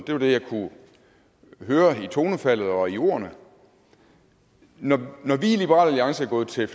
det var det jeg kunne høre i tonefaldet og i ordene når vi i liberal alliance er gået til